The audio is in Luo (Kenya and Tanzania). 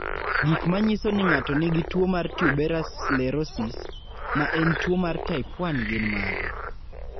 Gik manyiso ni ng'ato nigi tuwo mar tuberous sclerosis, ma en tuwo mar type 1 gin mage?